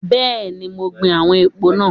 Bẹ́ẹ̀ni, mo gbin àwọn èpò náà.